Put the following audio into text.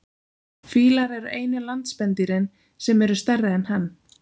Fílar eru einu landspendýrin sem eru stærri en hann.